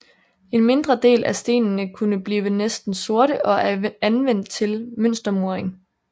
En mindre del af stenene kunne blive næsten sorte og er anvendt til mønstermuring